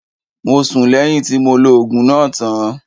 Mo sún lẹ́yìn tí mo lo oògùn náà tán.